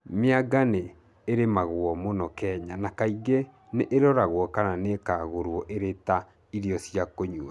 mĩanga nĩ ĩrimega mũno Kenya na kaingĩ nĩ ĩrogeagwo kana ĩkarugwo ĩrĩ ta irio cia kũnyua.